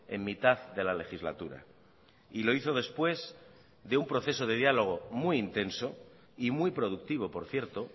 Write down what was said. en mitad de la legislatura y lo hizo después de un proceso de diálogo muy intenso y muy productivo por cierto